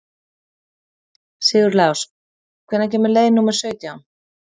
Sigurlás, hvenær kemur leið númer sautján?